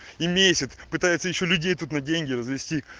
и месяц пытается ещё людей тут на деньги развести